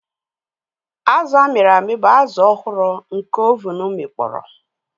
Azụ a mịrị amị bụ azụ ọhụrụ nke oven akpọnwụwo.